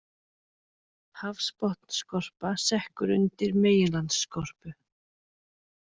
Hafsbotnsskorpa sekkur undir meginlandsskorpu.